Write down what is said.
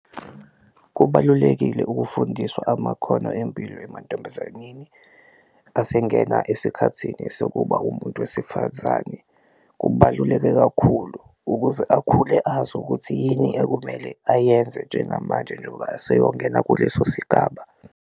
Kubalulekile ukufundiswa amakhono empilo emantombazaneni asengena esikhathini sokuba umuntu wesifazane, kubaluleke kakhulu ukuze akhule azi ukuthi yini ekumele ayenze njengamanje njengoba aseyongena kuleso sigaba.